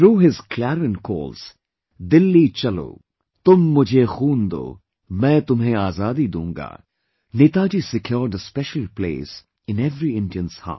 Through his clarion calls 'Dilli Chalo', 'Tum mujhe Khoon do, main tumhe azadi doonga', Netaji secured a special place in every Indian's heart